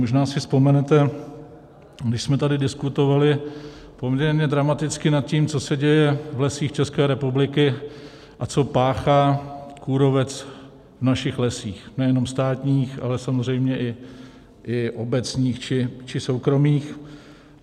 Možná si vzpomenete, my jsme tady diskutovali poměrně dramaticky nad tím, co se děje v Lesích České republiky a co páchá kůrovec v našich lesích, nejenom státních, ale samozřejmě i obecních či soukromých.